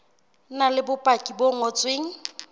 na le bopaki bo ngotsweng